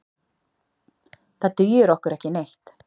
Það dugir okkur ekki neitt.